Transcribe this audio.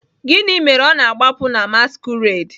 Gịnị mere ọ na-agbapụ na masquerade?